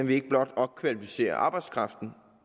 vil ikke blot opkvalificere arbejdskraften